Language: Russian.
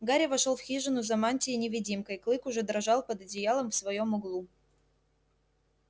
гарри вошёл в хижину за мантией-невидимкой клык уже дрожал под одеялом в своём углу